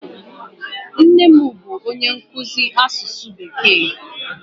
Nne m bụ onye nkụzi asụsụ bekee.